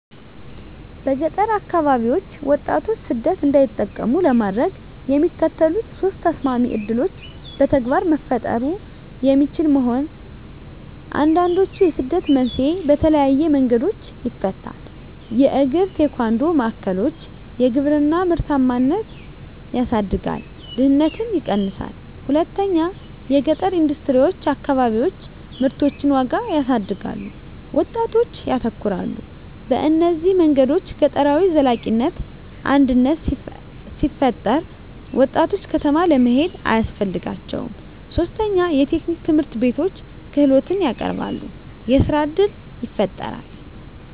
በገጠር አከባቢዎች ወጣቶች ሰደት እንዳይጠቀሙ ለማድረግ፣ የሚከተሉት ሶስት ተሰማሚ ዕድሎች በተግባር መፈጠሩ የሚችሉ መሆን፣ አንዱንድችዉ የስደትን መንስኤዎች በተለየዪ መንገዶች ይፈታል። 1 የእግራ-ቴኳንዶ ማዕከሎች _የግብርና ምርታማነትን ያሳድጋል፣ ድህነትን ይቀነሳል። 2 የገጠረ ኢንደስትሪዎች_ አከባቢዎች ምርቶችን ዋጋ ያሳድጋሉ፣ ወጣቶች ያተኮራሉ። በእነዚህ መንገዶች ገጠራዊ ዘላቂነት አድነት ሲፈጠራ፣ ወጣቶች ከተማ ለመሄድ አያስፈልጋቸውም ; 3 የቴክኒክ ትምህርትቤቶች _ክህሎትን ያቀረበሉ፣ የሥራ እድል ይፈጣራል።